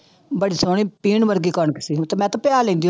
ਬੜੀ ਸੋਹਣੀ ਪੀਹਣ ਵਰਗੀ ਕਣਕ ਸੀਗੀ ਤੇ ਮੈਂ ਤੇ ਪਿਹਾ ਲੈਂਦੀ